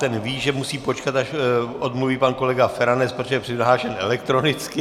Ten ví, že musí počkat, než odmluví pan kolega Feranec, protože je přihlášen elektronicky.